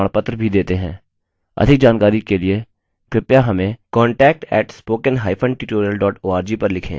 अधिक जानकारी के लिए कृपया हमें contact @spokentutorial org पर लिखें